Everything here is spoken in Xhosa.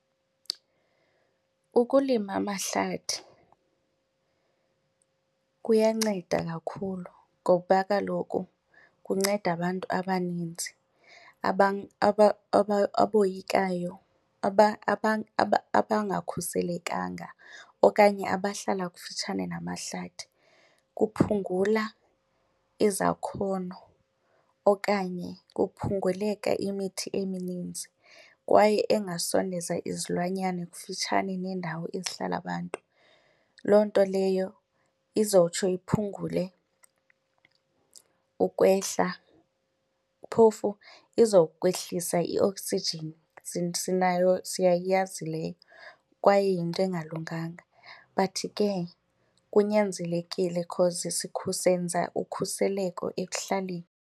Ukulima amahlathi kuyanceda kakhulu ngoba kaloku kunceda abantu abaninzi aboyikayo, abangakhuselekanga okanye abahlala kufutshane namahlathi. Kuphungula izakhono okanye kuphunguleka imithi emininzi kwaye engasondeza izilwanyana kufutshane neendawo ezihlala abantu. Loo nto leyo izotsho iphungule ukwehla, phofu izokwehlisa ioksijini, sinayo siyayazi leyo kwaye yinto engalunganga, but ke kunyanzelekile because senza ukhuseleko ekuhlaleni.